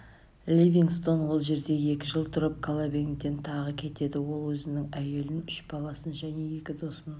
ливингстон ол жерде екі жыл тұрып колобенгден тағы кетеді ол өзінің әйелін үш баласын және екі досын